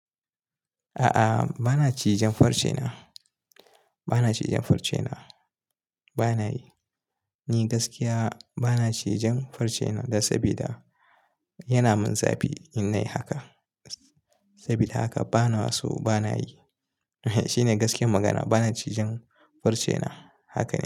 A'a, bana cijen farcena. Bana cije farcena. Bana yi. Ni gaskiya bana cijen farcena dan sabida yana min zafi in nayi haka. Sabida haka bana so, bana yi. Shine gaskiyar magana bana cijen farcena. Haka ne.